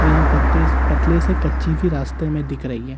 और यहां पत्ते पतले से कच्ची भी रास्ते में दिख रही हैं।